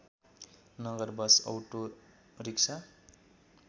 Nagar bus autorickshaw